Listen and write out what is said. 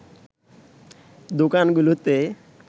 দোকানগুলোতে